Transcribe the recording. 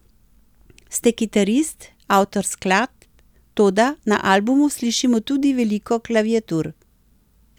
Ste kitarist, avtor skladb, toda na albumu slišimo tudi veliko klaviatur.